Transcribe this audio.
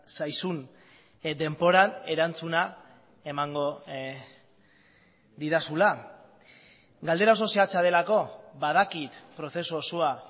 zaizun denboran erantzuna emango didazula galdera oso zehatza delako badakit prozesu osoa